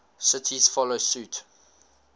cities follow suit